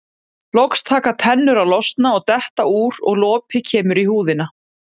Loks taka tennur að losna og detta úr og lopi kemur í húðina.